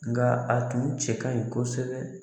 Nka a tun cɛ ka ɲi kosɛbɛ.